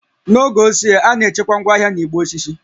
N'oge ochie, a na-echekwa ngwaahịa na igbe osisi